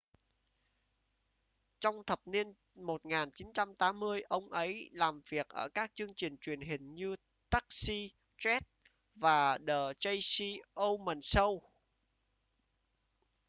trong thập niên 1980 ông ấy làm việc ở các chương trình truyền hình như taxi cheers và the tracy ullman show